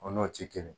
O n'o ti kelen